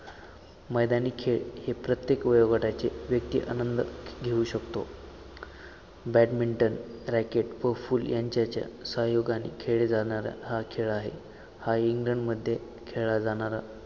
मैदानी खेळ हे प्रत्येक वयोगटाचे वैयक्तिक आनंद घेऊ शकतो. बॅडमिंटन रॅकेट व फूल यांच्याच्या सहयोगाने खेळले जाणारा हा खेळ आहे हा इंग्लंड मध्ये खेळला जाणारा